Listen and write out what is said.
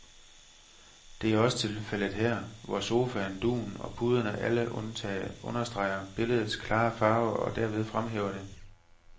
Det er også tilfældet her, hvor sofaen, dugen og puderne alle understreger billedets klare farver og derved fremhæver det.